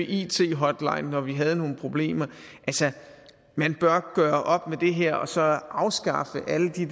it hotline når vi havde nogle problemer altså man bør gøre op med det her og så afskaffe alle de